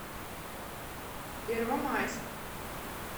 первомайск